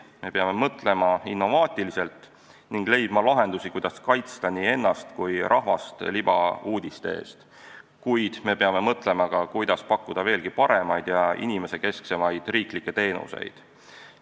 Me peame mõtlema innovaatiliselt ning leidma lahendusi, kuidas kaitsta nii ennast kui rahvast libauudiste eest, kuid me peame mõtlema ka, kuidas pakkuda veelgi paremaid ja inimesekesksemaid üleriigilisi teenuseid.